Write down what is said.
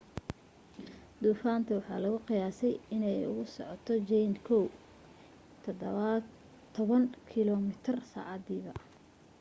duufaanta waxaa lagu qiyaasay inay ugu socoto jayne kow iyo toban kilo mitir saacadiiba